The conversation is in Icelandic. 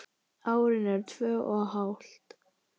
Árin eru tvö og hálft.